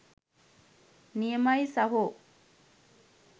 නියමයි සහෝ